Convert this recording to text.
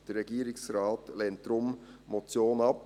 Der Regierungsrat lehnt die Motion deshalb ab.